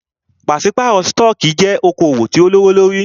Pàṣípàrọ̀ stọọkí jẹ́ okoòwò tí o lówó lórí.